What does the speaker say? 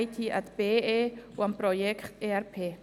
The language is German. Es gibt keine Fraktionssprechenden.